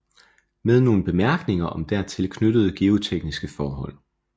Med nogle Bemærkninger om dertil knyttede geotekniske Forhold